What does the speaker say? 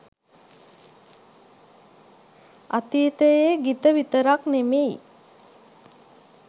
අතීතයේ ගිත විතරක් නෙමෙයි